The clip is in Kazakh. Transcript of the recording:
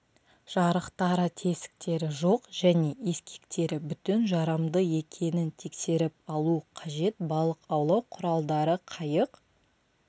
жарықтары тесіктері жоқ және ескектері бүтін жарамды екенін тексеріп алу қажет балық аулау құралдарды қайық